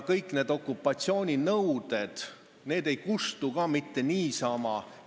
Kõik need nõuded ei kustu mitte niisama.